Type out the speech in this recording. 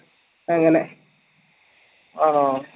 അങ്ങനെ ആണോ